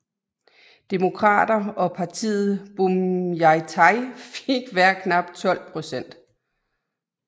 Demokrater og partiet Bhumjaithai fik hver knap 12 procent